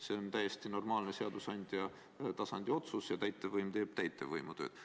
See on täiesti normaalne seadusandja tasandi otsus ja täitevvõim teeb täitevvõimu tööd.